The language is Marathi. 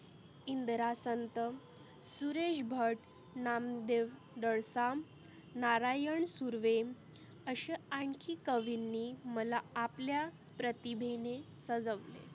इंदरा संत, सुरेष भट, नामदेव दळसांग, नारायन सुर्वे आसे अनखी कविंनी मला आपल्या प्रतीभेने सजवले.